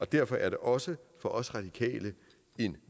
derfor er det også for os radikale en